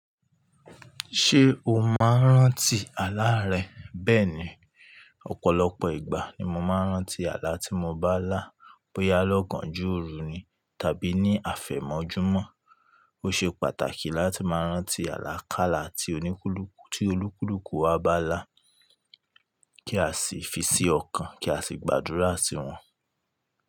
Ṣé o máa ń rántí àlá rẹ? Bẹ́ẹ̀ni, ọ̀pọ̀lọpọ̀ ìgbà ni mo máa ń rántí àlá tí mo bá lá. Bóyá lọ́gánjo òru ni tàbí ní àfẹ̀mọ́júmọ́. Ó ṣe pàtàkì láti máa rántí àlákála ti oníkúlùkù tí olúkúlùkù wa bá lá, kí a sì fi sí ọkàn kí a sì gbàdúrà sí wọn.